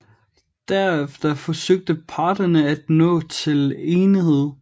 Derefter forsøgte parterne at nå til enighed